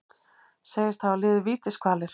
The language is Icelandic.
Segist hafa liðið vítiskvalir